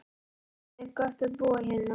Kristján: Er gott að búa hérna?